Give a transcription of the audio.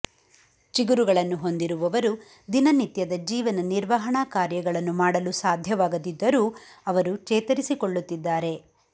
ಚಿಗುರುಗಳನ್ನು ಹೊಂದಿರುವವರು ದಿನನಿತ್ಯದ ಜೀವನ ನಿರ್ವಹಣಾ ಕಾರ್ಯಗಳನ್ನು ಮಾಡಲು ಸಾಧ್ಯವಾಗದಿದ್ದರೂ ಅವರು ಚೇತರಿಸಿಕೊಳ್ಳುತ್ತಿದ್ದಾರೆ